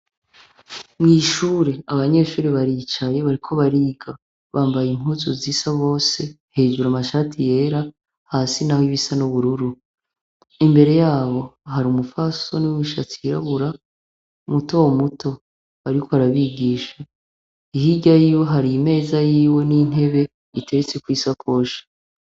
Mw'ishure abanyeshure baricaye bariko bariga bambaye impuzu zisa bose hejuru amashati yera hasi naho ibisa n'ubururu, imbere yabo hari umupfasoni w'umushatsi wirabura mutomuto ariko arabigisha, hirya yiwe hari imeza yiwe n'intebe biteretseko isakoshi.